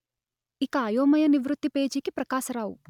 ఇక అయోమయ నివృత్తి పేజీకి ప్రకాశరావు